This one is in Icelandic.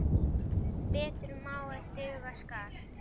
Betur má ef duga skal!